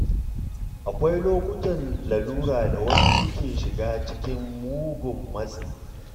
Akwai lokutan lalura da wasu suke shiga cikin mugun matsi.